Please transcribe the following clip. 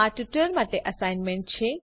આ ટ્યુટોરીયલ માટે એસાઈનમેન્ટ છે